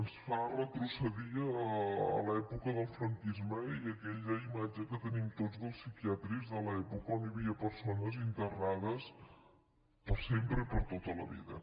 ens fa retrocedir a l’època del franquisme i a aquella imatge que tenim tots dels psiquiàtrics de l’època on hi havia persones internades per sempre i per a tota la vida